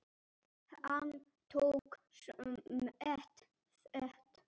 Hann tók samt þátt.